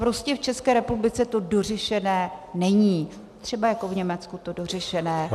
Prostě v České republice to dořešené není, třeba jako v Německu to dořešené je.